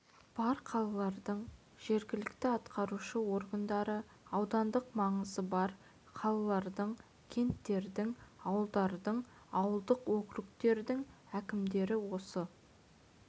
бар қалалардың жергілікті атқарушы органдары аудандық маңызы бар қалалардың кенттердің ауылдардың ауылдық округтердің әкімдері осы